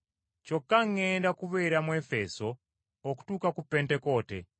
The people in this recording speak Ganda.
Kyokka ŋŋenda kubeera mu Efeso okutuusa ku Pentekoote.